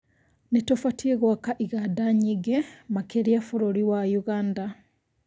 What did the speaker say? Nĩ tũbatiĩ gũaka igada nyĩngĩ makĩrĩa bũrũri wa Ũganda